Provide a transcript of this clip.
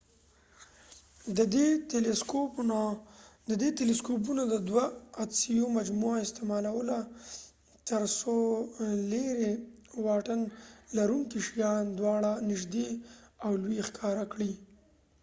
دې تیلیسکوپونو د دوه عدسیو مجموعه استعمالوله تر څو لیرې واټن لرونکي شیان دواړه نژدې او لوي ښکاره کړي